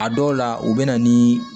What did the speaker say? A dɔw la u bɛ na ni